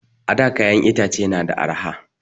A da kayan itace na da arha